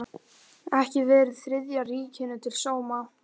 Ekki verið Þriðja ríkinu til sóma.